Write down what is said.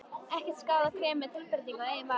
Ekki skaðar krem með tilbreytingu að eigin vali.